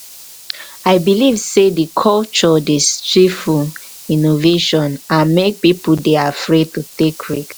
i dey believe say di culture dey stifle innovation and make people dey afraid to take risk.